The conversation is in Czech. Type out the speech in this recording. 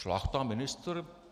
Šlachta ministr?